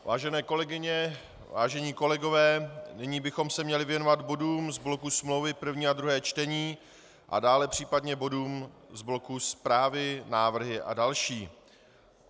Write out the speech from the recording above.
Vážené kolegyně, vážení kolegové, nyní bychom se měli věnovat bodům z bloku smlouvy, první a druhé čtení, a dále případně bodům z bloku zprávy, návrhy a další.